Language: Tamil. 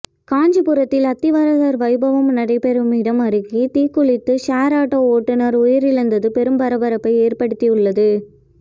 காஞ்சிபுரத்தில் அத்திவரதர் வைபவம் நடைபெறும் இடம் அருகே தீக்குளித்த ஷேர் ஆட்டோ ஓட்டுநர் உயிரிழந்துள்ளது பெரும் பரபரப்பை ஏற்படுத்தியுள்ளது